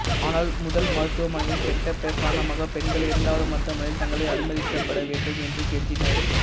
ஆனால் முதல் மருத்துவமனையின் கெட்ட பெயர் காரணமாக பெண்கள் இரண்டாவது மருத்துவமனையில் தங்களை அனுமதிக்கப்பட வேண்டும் என்று கெஞ்சினர்